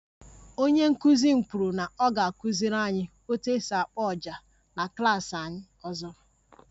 Onye nkụzi m kwuru na ọ ga-akụziri anyị otu esi akpo ọjà na klas anyị ọzọ